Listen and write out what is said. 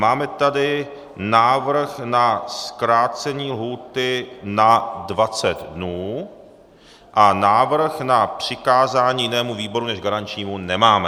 Máme tady návrh na zkrácení lhůty na 20 dnů a návrh na přikázání jinému výboru než garančnímu nemáme.